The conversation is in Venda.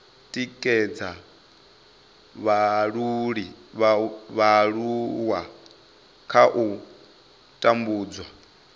tikedza vhaaluwa kha u tambudzwa